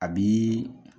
A bi